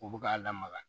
U bɛ k'a lamaga